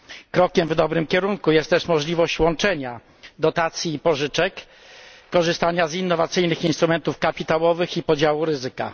Krokiem w dobrym kierunku jest też możliwość łączenia dotacji i pożyczek, korzystania z innowacyjnych instrumentów kapitałowych i podziału ryzyka.